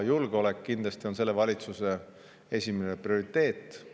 Julgeolek kindlasti on selle valitsuse esimene prioriteet.